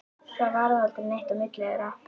Það varð aldrei neitt á milli þeirra.